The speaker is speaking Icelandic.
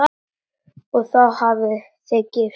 Og þá hafið þið gifst?